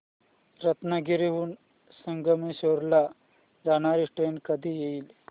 रत्नागिरी हून संगमेश्वर ला जाणारी ट्रेन कधी येईल